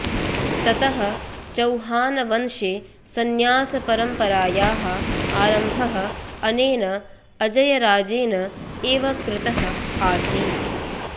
ततः चौहानवंशे संन्यासपरम्परायाः आरम्भः अनेन अजयराजेन एव कृतः आसीत्